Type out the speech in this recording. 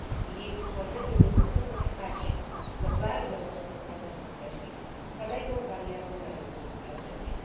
Jej utworzenie nie powinno stać się co bardzo mocno pragnę podkreślić kolejną barierą na rynku wewnętrznym.